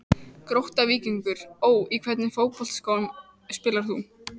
Grótta-Víkingur Ó Í hvernig fótboltaskóm spilar þú?